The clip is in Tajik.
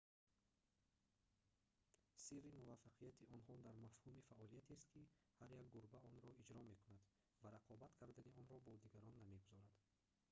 сирри муваффақияти онҳо дар мафҳуми фаъолиятест ки ҳар як гурба онро иҷро мекунад ва рақобат кардани онро бо дигарон намегузорад